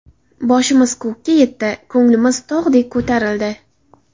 Boshimiz ko‘kka yetdi, ko‘nglimiz tog‘dek ko‘tarildi.